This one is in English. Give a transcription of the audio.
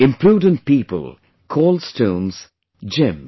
Imprudent people call stones as gems